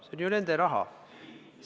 See on ju nende raha!